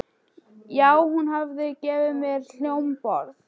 já, hún hafði gefið mér hljómborð.